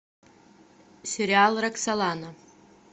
сериал роксолана